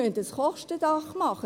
Wir müssen ein Kostendach machen.